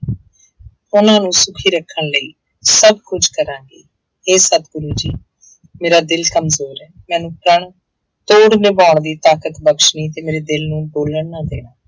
ਉਹਨਾਂ ਨੂੰ ਸੁਖੀ ਰੱਖਣ ਲਈ ਸਭ ਕੁਛ ਕਰਾਂਗੀ, ਹੇ ਸਤਿਗੁਰੂ ਜੀ ਮੇਰਾ ਦਿਲ ਕਮਜ਼ੋਰ ਹੈ, ਮੈਨੂੰ ਪ੍ਰਣ ਤੋੜ ਨਿਭਾਉਣ ਦੀ ਤਾਕਤ ਬਖ਼ਸ਼ਣੀ ਤੇ ਮੇਰੇ ਦਿਲ ਨੂੰ ਡੋਲਣ ਨਾ ਦੇਣਾ।